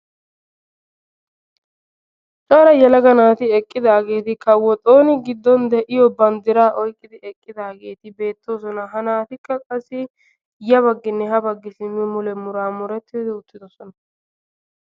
Cora yelaga naati eqqidaageeti kawo xooni giddon de"iyo banddiraa oyqqidi beettoosona. Ha naatikka qassi ya bagginne ha baggi muraamurettidi uttidosona.